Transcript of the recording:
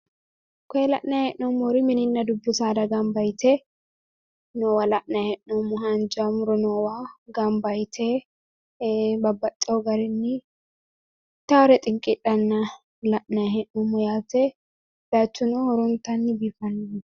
Koye la'nayi hee'noommori mininna dubbbu saada gamba yite noowa la'nayi hee'noommo haanja muro noowa gamba yite ee babbaxxeyo ittaare xinqidhanna la'nayi hee'noommo yaate bayiichuno horonatanni biifannoho